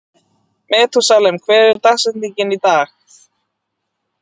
Methúsalem, hver er dagsetningin í dag?